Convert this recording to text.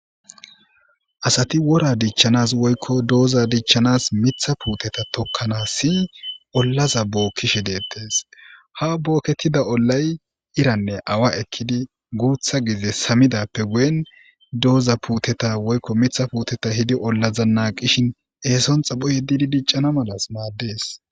Asati wora dichchanas woykko dooza dichchanas mitha puuteta tokkanas si ollaza bookkishe deettees ha bookketida ollay iranne awa ekkidi guutha gize samidappe guyen dooza puuteta woykko mitha puuteta hidi ollaza naa qishin eeson xapho yeddidi diccana malas maaddees.